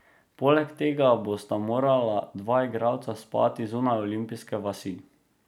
Poleg tega bosta morala dva igralca spati zunaj olimpijske vasi.